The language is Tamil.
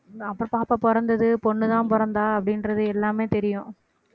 அப்புறம் பாப்பா பிறந்தது பொண்ணுதான் பொறந்தா அப்படின்றது எல்லாமே தெரியும்